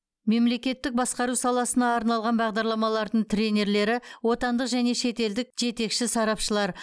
мемлекеттік басқару саласына арналған бағдарламалардың тренерлері отандық және шетелдік жетекші сарапшылар